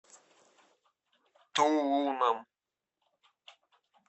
тулуном